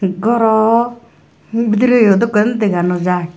goroh bidirey dokken dega no jai.